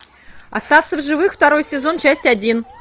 остаться в живых второй сезон часть один